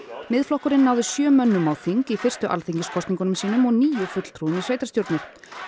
Miðflokkurinn náði sjö mönnum á þing í fyrstu alþingiskosningum sínum og níu fulltrúum í sveitarstjórnir